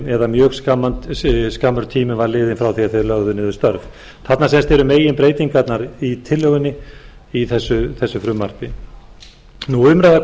eða mjög skammur tími var liðinn frá því að þeir lögðu niður störf þetta eru meginbreytingarnar í tillögunni í þessu frumvarpi umræða kom